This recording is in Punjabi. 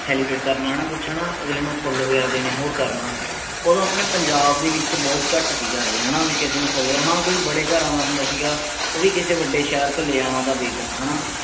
celebrate ਕਰਨਾ ਹੈਨਾ ਕੁੱਛ ਹੈਨਾ ਅਗਲੇ ਨੂੰ ਫੁੱਲ ਵਗੈਰਾ ਦੇਣਾ ਹੋਰ ਕਰਨਾ। ਓਦੋਂ ਅਪਣੇ ਪੰਜਾਬ ਦੇ ਵਿਚ ਬਹੁਤ ਘਟ ਸੀਗਾ ਇਹ ਹੈ ਨਾਂ ਵੀ ਕਿਸੇ ਨੂੰ ਫੁੱਲ ਵੀ। ਹਾਂ ਕੋਈ ਵੱਡੇ ਘਰਾਂ ਦਾ ਹੁੰਦਾ ਸੀਗਾ ਉਹ ਵੀ ਕਿਸੇ ਵੱਡੇ ਸ਼ਹਿਰ ਤੋਂ ਲੈ ਆਣਾ ਤਾਂ ਦੇ ਦੇਣਾ ਹੈਨਾ।